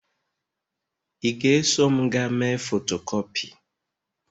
ị ga-eso m gaa mee fotokopi?